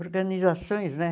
organizações, né?